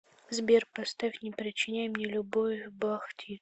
сбер поставь не причиняй мне любовь бах ти